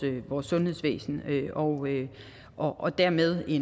sundhedsvæsen og dermed er